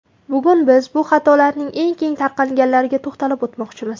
Bugun biz bu xatolarning eng keng tarqalganlariga to‘xtalib o‘tmoqchimiz.